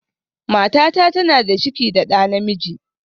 Matata tana da ciki da ɗa namiji